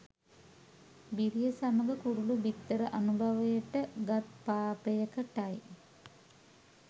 බිරිය සමග කුරුලු බිත්තර අනුභවයට ගත් පාපයකටයි.